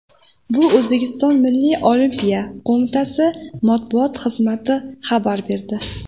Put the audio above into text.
Bu O‘zbekiston Milliy Olimpiya qo‘mitasi matbuot xizmati xabar berdi .